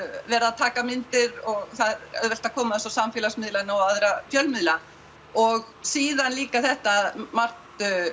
verið að taka myndir og það er auðvelt að koma þessu á samfélagsmiðla og aðra fjölmiðla og síðan líka þetta að margt